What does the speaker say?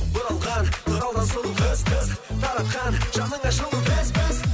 бұралған тұралдан сұлу қыз қыз таратқан жаныңа жылу біз біз